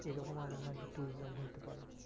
এরকম এমন হয় যে tourism হইতে পারে।